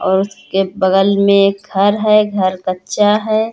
और उसके बगल में एक घर है। घर कच्चा है।